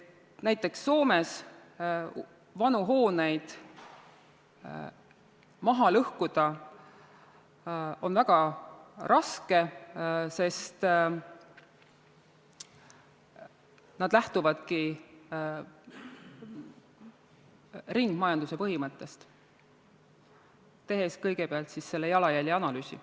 Näiteks on Soomes vanu hooneid maha lõhkuda väga raske, sest nemad lähtuvadki ringmajanduse põhimõttest, tehes kõigepealt jalajälje analüüsi.